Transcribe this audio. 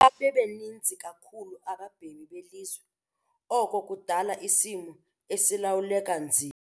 Xa bebaninzi kakhulu abemi belizwe oko kudala isimo esilawuleka nzima.